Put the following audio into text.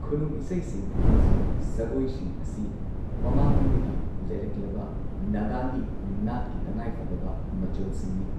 ꯈꯨꯅꯨꯡ ꯏꯁꯩꯁꯤꯡ ꯑꯃꯁꯨꯡ ꯁꯒꯣꯏꯁꯤꯡ ꯑꯁꯤ ꯃꯃꯥꯡꯉꯩꯗꯒꯤ ꯂꯩꯔꯛꯂꯕ ꯅꯥꯒꯥꯒꯤ ꯅꯥꯠꯀꯤ ꯇꯉꯥꯏꯐꯗꯕ ꯃꯆꯜꯁꯤꯡꯅꯤ꯫